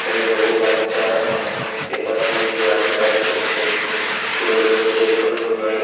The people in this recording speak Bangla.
এখানে বহু বাচ্চা পেপার দিয়ে নিজের হাতের কাজ করছে। স্কুলের কোন প্রোজেক্ট হবে মনে হয়।